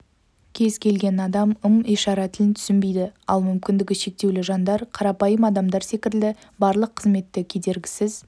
кез келген адам ым-ишара тілін түсінбейді ал мүмкіндігі шектеулі жандар қарапайым адамдар секілді барлық қызметті кедергісіз